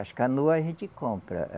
As canoa a gente compra.